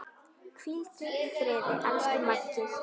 Hvíldu í friði, elsku Maggi.